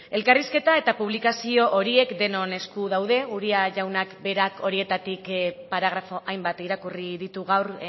elkarrizketa eta publikazio horiek denon esku daude uria jaunak berak horietatik hainbat paragrafo irakurri ditu gaur